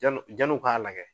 Jan jan'u k'a lagɛ